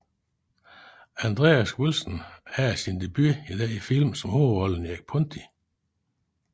Andreas Wilson havde sin debut i denne film som hovedrollen Erik Ponti